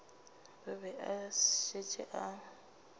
o be a šetše a